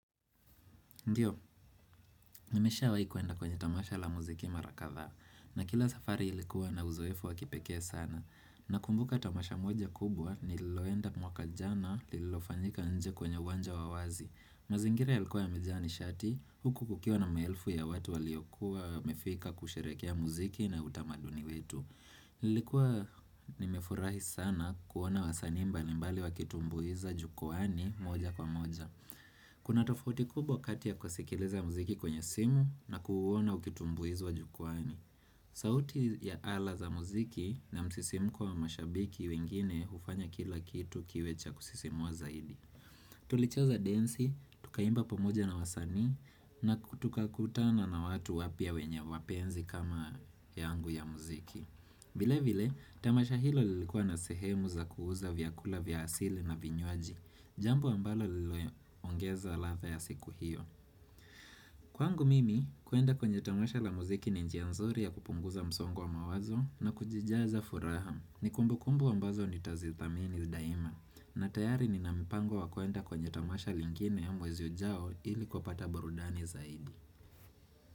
Ndiyo, nimesha waikwenda kwenye tamasha la muziki mara katha, na kila safari ilikuwa na uzoefu wakipekee sana. Nakumbuka tamasha moja kubwa nililoenda mwaka jana lilofanyika nje kwenye uwanja wa wazi. Mazingira yalikuwa yamejaa nishati, huku kukiwa na maelfu ya watu waliokuwa wamefika kusherehekea muziki na utamaduni wetu. Nilikuwa nimefurahi sana kuona wasanii mbalimbali wakitumbuiza jukwaani moja kwa moja. Kuna tofauti kubwa kati ya kusikiliza muziki kwenye simu na kuona ukitumbuizwa jukwaani sauti ya ala za muziki na msisimu kwa mashabiki wengine hufanya kila kitu kiwe cha kusisimua zaidi Tulicheza densi, tukaimba pamoja na wasanii na tukakutana na watu wapya wenye mapenzi kama yangu ya muziki vile vile, tamasha hilo lilikuwa na sehemu za kuuza vyakula vya asili na vinywaji. Jambo ambalo liliongeza ladha ya siku hiyo Kwangu mimi kuenda kwenye tamasha la muziki ni njia nzuri ya kupunguza msongo wa mawazo na kujijaza furaha. Ni kumbukumbu ambazo nitazithamini daima na tayari nina mpango wa kwenda kwenye tamasha lingine mwezi ujao ili kupata burudani zaidi.